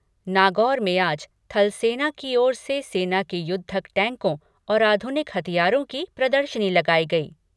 नागौर में आज थलसेना की ओर से सेना के युद्धक टैंकों और आधुनिक हथियारों की प्रदर्शनी लगायी गयी।